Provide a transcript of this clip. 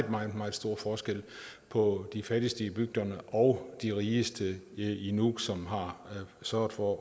meget meget stor forskel på de fattigste i bygderne og de rigeste i i nuuk som har sørget for